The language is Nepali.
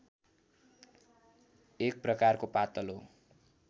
एक प्रकारको पातलो